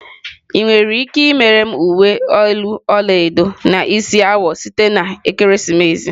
Ị nwere ike imere m uwe elu ọla edo na isi awọ site na ekeresimesi?